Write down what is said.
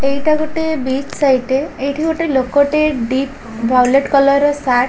ଏଇଟା ଗୋଟେ beach site ଟେ ଏଇଠି ଗୋଟେ ଲୋକ ଟେ ଡିପ ଭାଓଲେଟ କଲର୍ ର ସାର୍ଟ ।